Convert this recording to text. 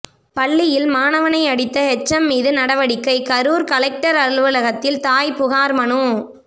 பள்ளியில் மாணவனை அடித்த ஹெச்எம் மீது நடவடிக்கை கரூர் கலெக்டர் அலுவலகத்தில் தாய் புகார் மனு